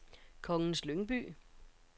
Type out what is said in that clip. Kongens Lyngby